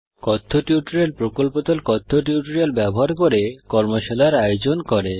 কথ্য টিউটোরিয়াল প্রকল্প দল কথ্য টিউটোরিয়াল ব্যবহার করে কর্মশালার আয়োজন করে